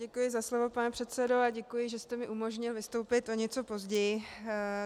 Děkuji za slovo, pane předsedo, a děkuji, že jste mi umožnil vystoupit o něco později.